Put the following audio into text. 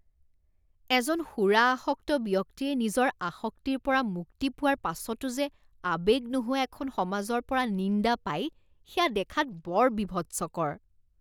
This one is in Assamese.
এজন সুৰা আসক্ত ব্যক্তিয়ে নিজৰ আসক্তিৰ পৰা মুক্তি পোৱাৰ পাছতো যে আৱেগ নোহোৱা এখন সমাজৰ পৰা নিন্দা পাই সেয়া দেখাত বৰ বীভৎসকৰ।